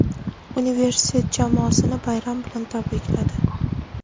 universitet jamoasini bayram bilan tabrikladi.